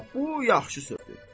Ha, bu yaxşı sözdür.